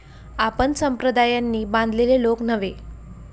आपण संप्रदायांनी बांधलेले लोक नव्हे.